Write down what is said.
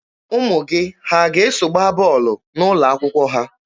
Ụmụ gị ha ga-eso gbaa bọọlụ n'ụlọ akwụkwọ ha?